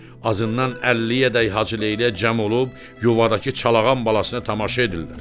Azından 50-yədək Hacıleylək cəm olub yuvadakı Çalağan balasına tamaşa edirlər.